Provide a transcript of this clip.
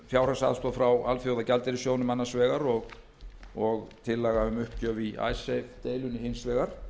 fjárhagsaðstoð frá alþjóðagjaldeyrissjóðnum annars vegar og tillaga um uppgjöf í icesave deilunni hins vegar